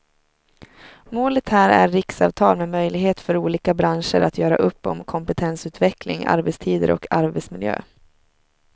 Målet här är riksavtal med möjlighet för olika branscher att göra upp om kompetensutveckling, arbetstider och arbetsmiljö.